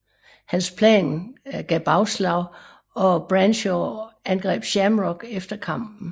Hans plan gav bagslag og Bradshaw angreb Shamrock efter kampen